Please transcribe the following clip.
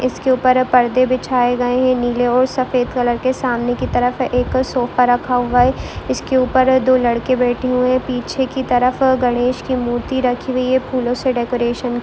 इसके ऊपर पर्दे बिछाए गए हैं नीले और सफ़ेद कलर के सामने की तरफ एक सोफा रखा हुआ है इसके ऊपर दो लड़के बैठे हुए पीछे की तरफ गणेश की मूर्ति रखी हुई है फूलों से डेकोरेशन --